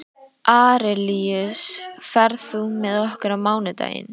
Arilíus, ferð þú með okkur á mánudaginn?